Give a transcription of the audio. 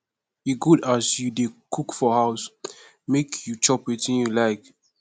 e good as you dey cook for house make you chop wetin you like